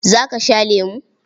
Za ka sha lemo?